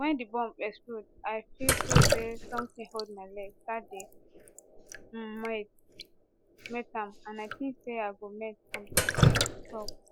wen di bomb explode i feel feel say somtin hold my leg start dey um melt am and i tink say i go melt completely e tok